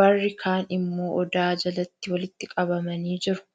warri kaan immoo odaa jalatti walitti qabamanii jiru.